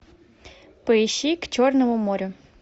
поищи к черному морю